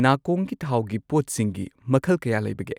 ꯅꯥꯀꯣꯡꯒꯤ ꯊꯥꯎꯒꯤ ꯄꯣꯠꯁꯤꯡꯒꯤ ꯃꯈꯜ ꯀꯌꯥ ꯂꯩꯕꯒꯦ?